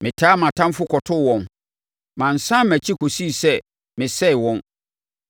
Metaa mʼatamfoɔ kɔtoo wɔn; mansane mʼakyi kɔsii sɛ mesɛee wɔn.